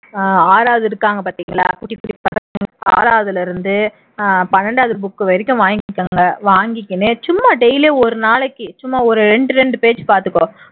ஆறாவது இருக்கிறாங்க பாத்தீங்களா குட்டி குட்டி பசங்க ஆறாவதுல இருந்து பன்னிரண்டாவது book வரையும் வாங்கிக்கோங்க வாங்கிக்கிட்டு சும்மா daily ஒரு நாளைக்கு சும்மா ஒரு இரண்டு இரண்டு page பாத்துக்கோ